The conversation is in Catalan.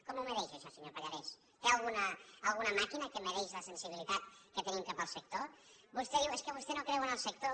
com ho mesura això senyor pallarès té alguna màquina que mesura la sensibilitat que tenim cap al sector vostè diu és que vostè no creu en el sector